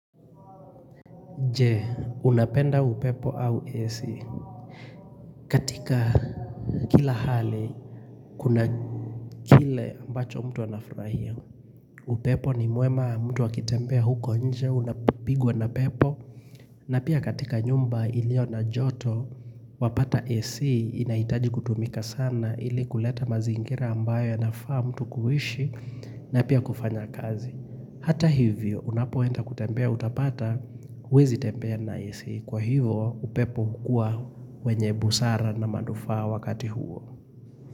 Je, unapenda upepo au AC katika kila hali kuna kile ambacho mtu anafurahia. Upepo ni mwema mtu akitembea huko nje unapigwa na pepo na pia katika nyumba ilio na joto wapata AC inaitaji kutumika sana ili kuleta mazingira ambayo anafaa mtu kuishi na pia kufanya kazi. Hata hivyo unapoenda kutembea utapata uwezi tembea na AC kwa hivyo upepo hukua wenye busara na manufaa wakati huo.